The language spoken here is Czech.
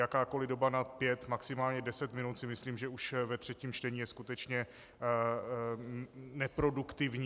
Jakákoli doba nad pět maximálně deset minut si myslím, že už ve třetím čtení je skutečně neproduktivní.